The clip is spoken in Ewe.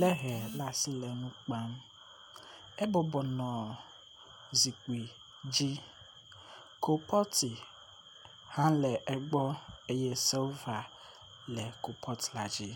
le hɛ ɖe asi le nukpam, e bɔbɔnɔ zikpi dzi kupɔti hã le egbɔ eye silva le kupɔti la dzi